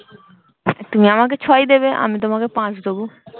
তুমি আমাকে ছয় দেবে আমি তোমাকে পাঁচ দেব